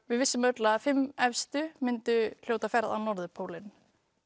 við vissum að fimm efstu hlutu ferð á norðurpólinn